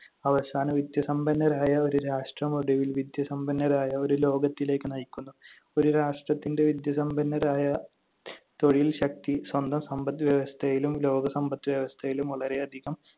അവസാനം വിദ്യാസമ്പന്നരായ ഒരു രാഷ്ട്രം ഒടുവിൽ വിദ്യാസമ്പന്നരായ ഒരു ലോകത്തിലേക്ക് നയിക്കുന്നു. ഒരു രാഷ്ട്രത്തിന്‍റെ വിദ്യാസമ്പന്നരായ തൊഴിൽ ശക്തി സ്വന്തം സമ്പദ്‌വ്യവസ്ഥയിലും ലോക സമ്പദ്‌വ്യവസ്ഥയിലും വളരെയധികം